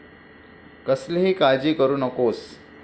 कसलीही काळजी करू नकोस.